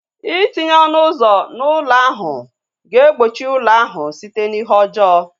Itinye ọnụ ụzọ na ụlọ ahu ga egbochi ụlọ ahu site na ihe ọjọọ